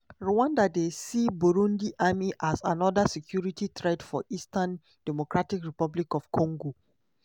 rwanda dey see burundi army as anoda security threat for eastern democratic republic of congo